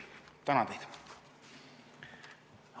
Tänan teid!